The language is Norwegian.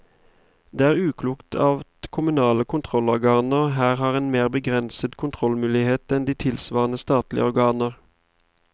Det er uklokt at kommunale kontrollorganer her har mer begrensede kontrollmuligheter enn de tilsvarende statlige organer.